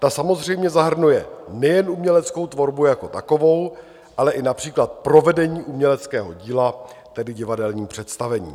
Ta samozřejmě zahrnuje nejen uměleckou tvorbu jako takovou, ale i například provedení uměleckého díla, tedy divadelní představení.